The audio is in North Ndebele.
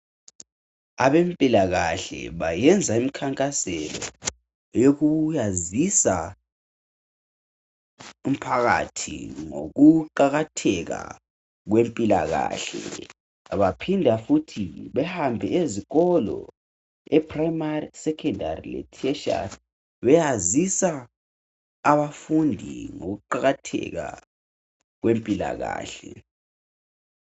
Abempilakahle bayenza imkhankaso yoku yazisa umphakathi ngokuqakatheka kwempilakahle . Baphinda futhi behambe ezikolo e primary ,secondary le tertiary beyazisa abafundi ngokuqakatheka kwempilakahle.